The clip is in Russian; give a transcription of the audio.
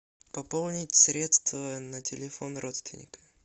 пополнить средства на телефон родственника